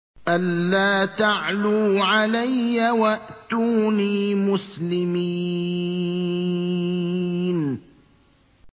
أَلَّا تَعْلُوا عَلَيَّ وَأْتُونِي مُسْلِمِينَ